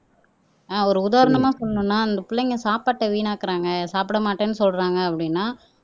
ஆஹ் ஒரு உதாரணமா சொல்லணும்ன்னா அந்தப் பிள்ளைங்க சாப்பாட்டை வீணாக்குறாங்க சாப்பிட மாட்டேன்னு சொல்றாங்க அப்படின்னா